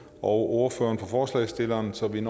og ordføreren for forslagsstillerne så vi